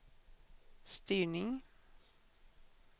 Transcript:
styrning